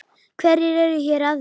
Hverjir eru hér aðrir?